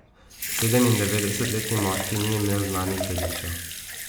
Sedemindevetdesetletni moški ni imel znanih dedičev.